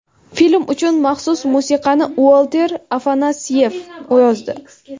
Film uchun maxsus musiqani Uolter Afanasyev yozdi.